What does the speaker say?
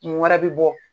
Mun wɛrɛ bɛ bɔ